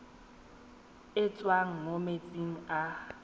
e tswang mo metsing a